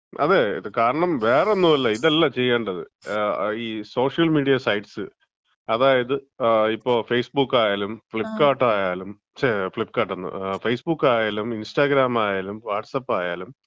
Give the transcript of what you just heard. അതെ, കാരണം വേറൊന്നുമല്ല, ഇതല്ല ചെയ്യേണ്ടത്. ഈ സോഷ്യൽമീഡിയ സൈറ്റ്സ് അതായത്, ഇപ്പൊ ഫേസ്ബുക്കായാലും ഫ്ലിപ്കാർട്ട് ആയാലും ഛേ, ഫ്ലിപ്കാർട്ടെന്ന്, ഫേസ്ബുക്കായാലും ഇൻസ്റ്റഗ്രാമായാലും വാട്സ്ആപ്പ് ആയാലും,